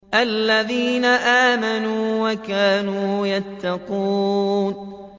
الَّذِينَ آمَنُوا وَكَانُوا يَتَّقُونَ